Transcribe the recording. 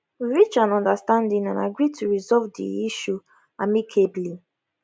we reach an understanding and agree to resolve di issue amicably